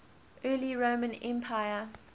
early roman empire